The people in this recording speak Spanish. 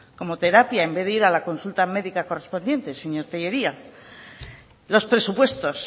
como terapia en vez de ir a la consulta médica correspondiente señor tellería los presupuestos